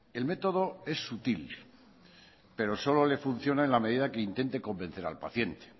el método es sutil pero solo le funciona en la medida que intente convencer al paciente